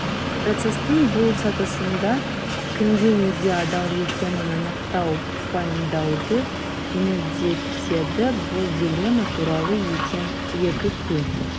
процестің бұл сатысында кімге неге адал екенін анықтау пайымдауды жеңілдетеді бұл дилемма туралы екі күн